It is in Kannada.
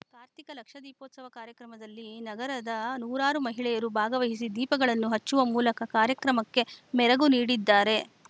ಕಾರ್ತಿಕ ಲಕ್ಷ ದೀಪೋತ್ಸವ ಕಾರ್ಯಕ್ರಮದಲ್ಲಿ ನಗರದ ನೂರಾರು ಮಹಿಳೆಯರು ಭಾಗವಹಿಸಿ ದೀಪಗಳನ್ನು ಹಚ್ಚುವ ಮೂಲಕ ಕಾರ್ಯಕ್ರಮಕ್ಕೆ ಮೆರಗು ನೀಡಿದ್ದಾರೆ